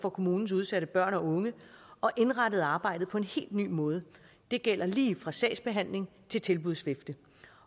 for kommunens udsatte børn og unge og indrettet arbejdet på en helt ny måde det gælder lige fra sagsbehandling til tilbudsvifte